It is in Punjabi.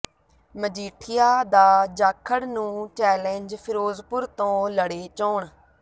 ਮਜੀਠੀਆ ਦਾ ਜਾਖੜ ਨੂੰ ਚੈਲੇਂਜ ਫਿਰੋਜ਼ਪੁਰ ਤੋਂ ਲੜੇ ਚੋਣ